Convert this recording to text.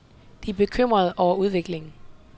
De er bekymrede over udviklingen.